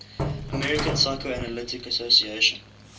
american psychoanalytic association